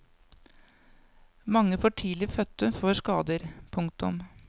Mange for tidlig fødte får skader. punktum